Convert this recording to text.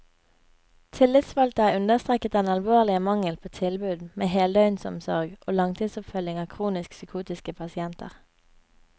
Tillitsvalgte har understreket den alvorlige mangel på tilbud med heldøgnsomsorg og langtidsoppfølging av kronisk psykotiske pasienter.